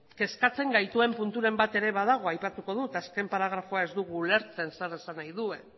kezkatzen gaituen punturen bat ere badago aipatuko dut azken paragrafoa ez dugu ulertzen zer esan nahi duen